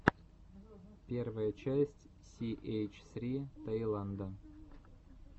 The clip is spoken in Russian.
первая часть си эйч ссри таиланда